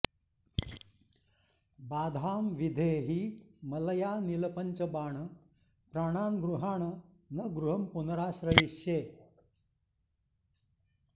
बाधाम् विधेहि मलयानिल पंचबाण प्राणान्गृहाण न गृहम् पुनराश्रयिष्ये